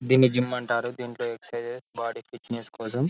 దేన్ని జిమ్ అంటారు దేంట్లో ఎక్ససిస్ బాడీ ఫిట్నెస్ కోసం --